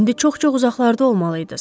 İndi çox-çox uzaqlarda olmalı idiniz.